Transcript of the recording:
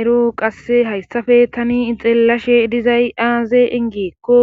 ero qasse hayssafe tani xeellashe dizay aaze gikko